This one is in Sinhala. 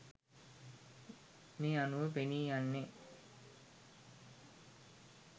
මේ අනුව පෙනී යන්නේ